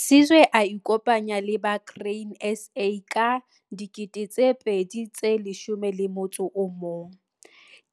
Sizwe a ikopanya le ba Grain SA ka 2011.